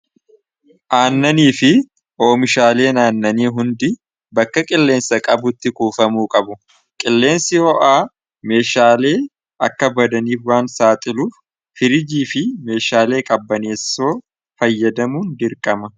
Aannanii fi oomishaalee naannanii hundi bakka qilleensa qabutti kuufamuu qabu. Qilleensi ho'aa meeshaalee akka badaniif waan saaxiluu firijii fi meeshaalee qabbaneessoo fayyadamuun dirqama.